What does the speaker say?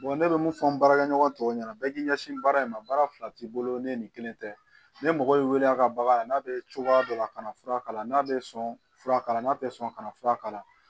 ne bɛ mun fɔ n baarakɛ ɲɔgɔn tɔw ɲɛna bɛɛ k'i ɲɛsin baara in ma baara fila t'i bolo ni nin kelen tɛ ne mɔgɔ y'i wele a ka bagan la n'a bɛ cogoya dɔ la a kana fura kala n'a bɛ sɔn fura kala n'a tɛ sɔn ka na fura kala